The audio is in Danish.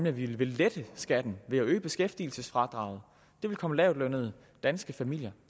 at vi vil lette skatten ved at øge beskæftigelsesfradraget det vil komme lavtlønnede danske familier